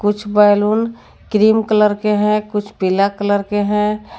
कुछ balloon cream colour के हैं कुछ पीला कलर के हैं।